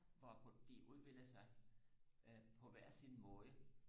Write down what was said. hvor på de udvikler sig på hver sin måde